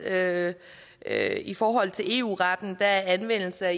at at i forhold til eu retten er anvendelse af